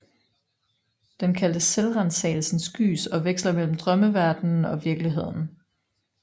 Den kaldtes selvransagelsens gys og veksler mellem drømmeverdenen og virkeligheden